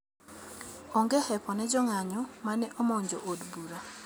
Onge hepo ne jonganyo mane omnjo od bura